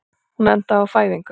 Hún endaði á fæðingu.